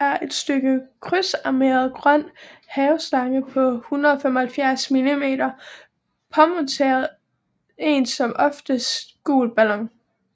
er et stykke krydsarmeret grøn haveslange på 175 mm påmonteret en som oftest gul ballon